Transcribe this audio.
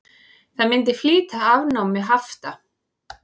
Það myndi flýta afnámi hafta.